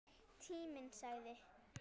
Tíminn sagði